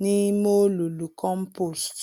n'ime olulu kompost.